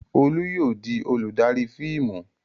Olú yóò di olùdarí fíìmù!